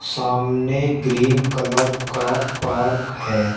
सामने green colour का park है।